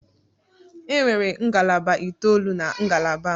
Enwere ngalaba itoolu na ngalaba m.